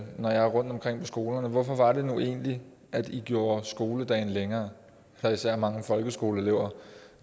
når jeg er rundtomkring på skolerne hvorfor var det nu egentlig at i gjorde skoledagen længere der er især mange folkeskoleelever